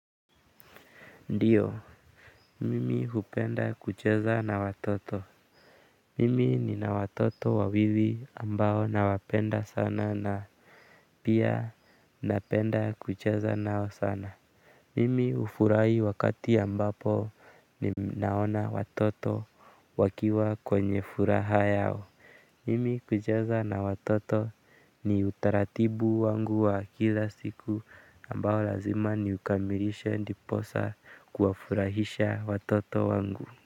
Ndio, mimi hupenda kucheza na watoto. Mimi nina watoto wawili ambao nawapenda sana na pia, napenda kucheza nao sana. Mimi hufurahi wakati ambapo ninaona watoto wakiwa kwenye furaha yao. Mimi kucheza na watoto ni utaratibu wangu wa kila siku. Ambao lazima niukamilishe ndiposa kuwafurahisha watoto wangu.